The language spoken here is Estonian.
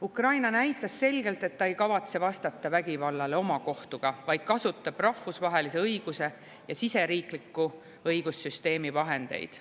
Ukraina näitas selgelt, et ta ei kavatse vastata vägivallale omakohtuga, vaid kasutab rahvusvahelise õiguse ja siseriikliku õigussüsteemi vahendeid.